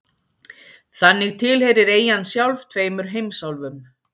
Þannig tilheyrir eyjan sjálf tveimur heimsálfum.